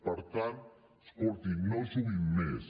per tant escoltin no juguin més